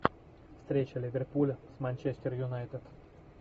встреча ливерпуля с манчестер юнайтед